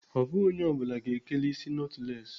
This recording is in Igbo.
Ọ bụghị onye ọ bụla ga-ekeli isi nọtụles.